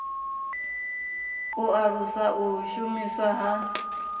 u alusa u shumiswa ha